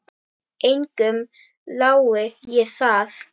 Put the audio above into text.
Engum lái ég það.